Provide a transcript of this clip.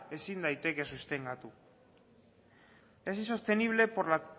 ezin daiteke sustengatu es sostenible por la